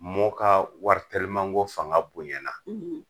Mɔw ka wari telimako fanga bonya na